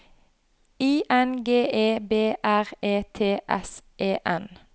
I N G E B R E T S E N